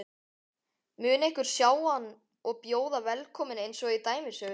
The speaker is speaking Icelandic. Mun einhver sjá hann og bjóða velkominn einsog í dæmisögunni?